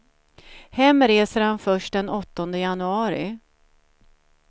Hem reser han först den åttonde januari.